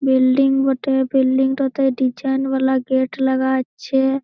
Building বটে। Building টা তে ডিসাইন বালা গেট লাগা আছে-এ।